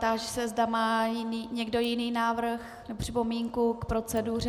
Táži se, zda má někdo jiný návrh, připomínku k proceduře.